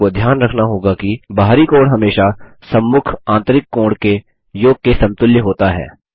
आपको ध्यान रखना होगा कि बाहरी कोण हमेशा सम्मुख आंतरिक कोण के योग के समतुल्य होता है